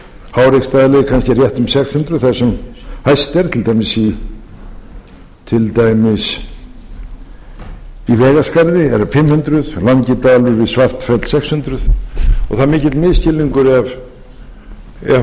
háreksstaðaleið kannski rétt um sex hundruð þar sem hæst er til dæmis í vegaskarði eru fimm hundruð langidalur við svartfell sex hundruð og það er mikill misskilningur ef